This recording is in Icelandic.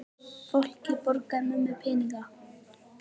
Fólkið borgaði mömmu peninga!